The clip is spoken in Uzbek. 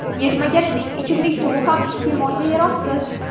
Yetmagandek, ichimlik suvi ham iste’molga yaroqsiz.